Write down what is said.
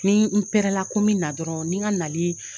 Ni n pɛrɛla ko n bɛ na dɔrɔn ni n ka nali